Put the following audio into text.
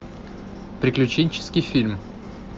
приключенческий фильм